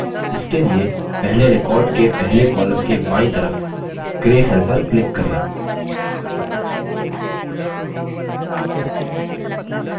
इसके लिए पहले record के पहले column के बायीं तरफ gray cell पर click करें